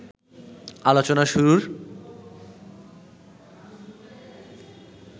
আলোচনা শুরুর